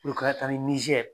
U k'a taalen